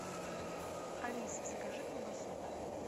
алиса закажи колбасу